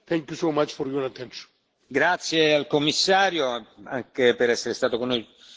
Grazie al Commissario, anche per essere stato con noi gran parte della mattinata.